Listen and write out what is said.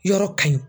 Yɔrɔ ka ɲi